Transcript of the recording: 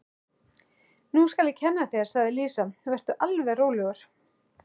Nú skal ég kenna þér, sagði Lísa, vertu alveg rólegur.